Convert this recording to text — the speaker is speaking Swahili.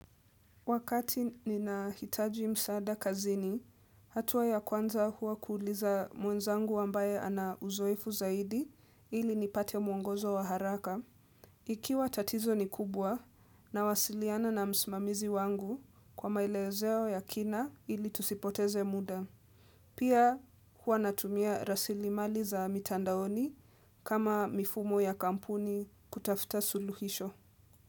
Wakati ninahitaji msaada kazini, hatua ya kwanza huwa kuuliza mwenzangu ambaye ana uzoefu zaidi ili nipate mwongozo wa haraka. Ikiwa tatizo ni kubwa nawasiliana na mimamizi wangu kwa maelezeo ya kina ili tusipoteze muda. Pia huwa natumia rasili mali za mitandaoni kama mfumo ya kampuni kutafuta suluhisho.